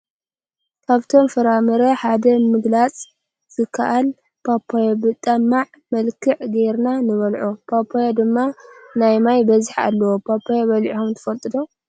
ካብቶም ፍራምራ ሓደ ንምግላፅ ዝካል ፓፓየ ብጥማዕ መልክዕ ገይርና ንበልዖ ። ፓፓየ ድማ ናይማይ በዝሒ ኣለዎ ። ፓፓየ በሊዕኩም ትፍልጡ ዶ ?